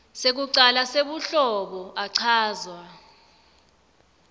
sekucala sebuhlobo achazwa